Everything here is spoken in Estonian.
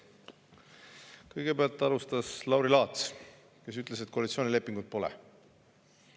Kõigepealt alustas Lauri Laats, kes ütles, et koalitsioonilepingut pole.